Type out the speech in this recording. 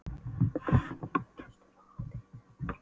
Hún er líka gestur á hátíðinni þetta árið.